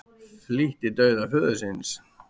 Flýtti dauða föður síns